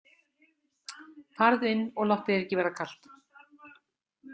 Farðu inn og láttu þér ekki verða kalt.